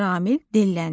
Ramil dilləndi.